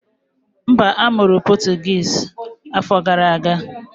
Mba, a mụrụ